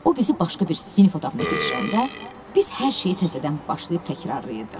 O bizi başqa bir sinif otağına keçirəndə biz hər şeyi təzədən başlayıb təkrarlayırdıq.